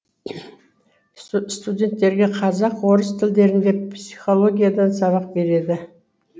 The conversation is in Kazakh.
студенттерге қазақ орыс тілдерінде психологиядан сабақ береді